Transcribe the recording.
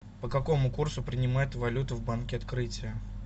по какому курсу принимают валюту в банке открытие